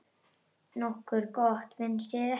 Nokkuð gott, finnst þér ekki?